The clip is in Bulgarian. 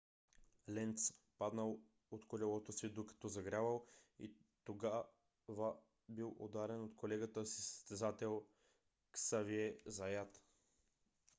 ленц паднал от колелото си докато загрявал и след това бил ударен от колегата си състезател ксавие заят